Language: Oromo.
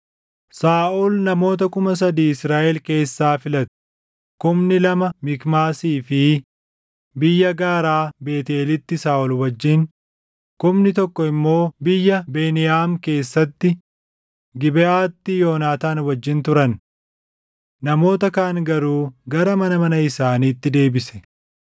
Saaʼol namoota kuma sadii Israaʼel keessaa filate; kumni lama Mikmaasii fi biyya gaaraa Beetʼeelitti Saaʼol wajjin, kumni tokko immoo biyya Beniyaam keessatti Gibeʼaatti Yoonaataan wajjin turan. Namoota kaan garuu gara mana mana isaaniitti deebise.